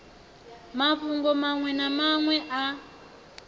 mafhungo maṅwe na maṅwe a